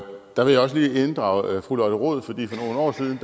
og der vil jeg også lige inddrage fru lotte rod fordi for nogle år siden